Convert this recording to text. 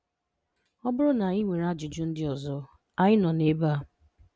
Ọ bụrụ na ị nwere ajụjụ ndị ọzọ, Anyị nọ ebe a!